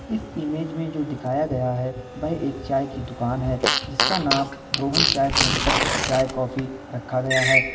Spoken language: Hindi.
इस इमेज में जो दिखाया गया है वह एक चाय की दुकान है जिसका नाम रोहन चाय सेंटर चाय कॉफी रखा गया है।